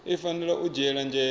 i fanela u dzhiela nzhele